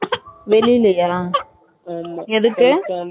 வெளிலயா எதுக்கு?